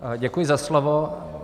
Děkuji za slovo.